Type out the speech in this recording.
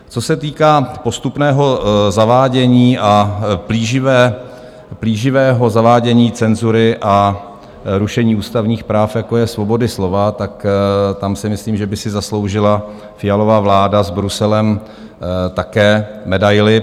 Co se týká postupného zavádění a plíživého zavádění cenzury a rušení ústavních práv, jako je svoboda slova, tak tam si myslím, že by si zasloužila Fialova vláda s Bruselem také medaili.